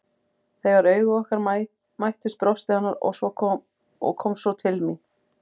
Þegar augu okkar mættust brosti hann og kom svo til mín.